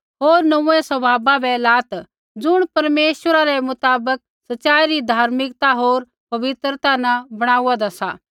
होर नोंऊँऐं स्वभावा बै लात् ज़ुण परमेश्वरा रै मुताबक सच़ाई री धार्मिकता होर पवित्रता न बणाऊदां सा